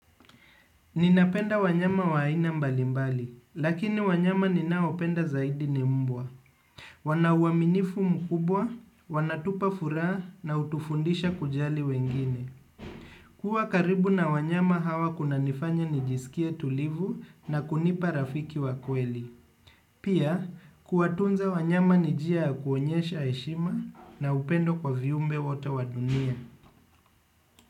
Ninapenda wanyama wa aina mbali mbali, lakini wanyama ninaopenda zaidi ni mbwa. Wana uaminifu mkubwa, wanatupa furaha na hutufundisha kujali wengine. Kuwa karibu na wanyama hawa kunanifanya nijisikea tulivu na kunipa rafiki wa kweli. Pia, kuatunza wanyama ni njia kuonyesha heshima na upendo kwa viumbe wote wa dunia.